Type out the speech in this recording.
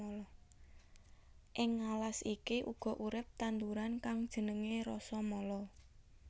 Ing alas iki uga urip tanduran kang jenengé Rasamala